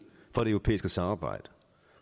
for det europæiske samarbejde